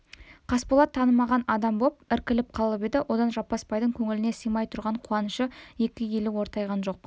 қасболат танымаған адам боп іркіліп қалып еді одан жаппасбайдың көңіліне сыймай тұрған қуанышы екі елі ортайған жоқ